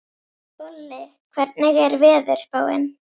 Bolli, hvernig er veðurspáin?